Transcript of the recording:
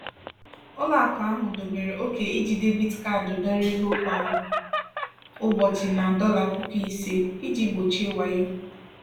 ụlọakụ ahụ dobere ókè iji debiit kaadi dọrọ ego kwa ụbọchị na dollar puku ise ($5000) iji gbochie wayo.